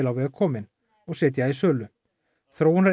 á veg komin og setja í sölu